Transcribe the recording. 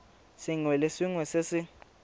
sengwe le sengwe se se